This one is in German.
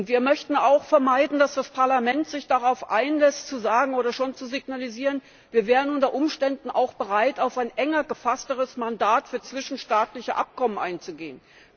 Wir möchten auch vermeiden, dass das Parlament sich darauf einlässt, zu sagen oder schon zu signalisieren, wir wären unter Umständen auch bereit, auf ein enger gefasstes Mandat für zwischenstaatliche Abkommen einzugehen.